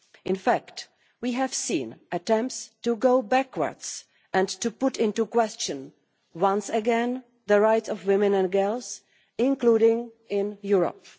In fact, we have seen attempts to go backwards and to call into question once again the rights of women and girls, including in Europe.